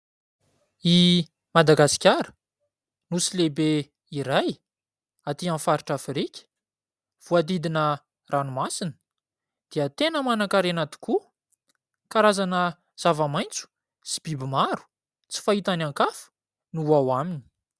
I Madagasikara, nosy lehibe iray aty amin'ny faritr'Afrika voahodidina ranomasina dia tena manan-karena tokoa, karazana zava-maitso sy biby maro tsy fahita any an-kafa no ao aminy.